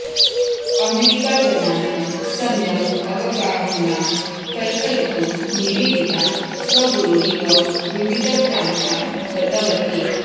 अमेरिकाजनानां सम्यक् अवगाहनां कल्पयितुं निवेदिता स्वगुरुरिव विविधप्रान्तान् गतवती